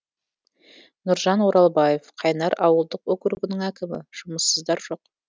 нұржан оралбаев қайнар ауылдық округінің әкімі жұмыссыздар жоқ